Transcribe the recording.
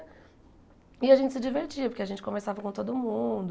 E a gente se divertia porque a gente conversava com todo mundo.